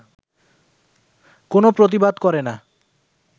কোনো প্রতিবাদ করে না